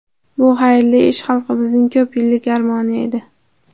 Bu xayrli ish xalqimizning ko‘p yillik armoni edi.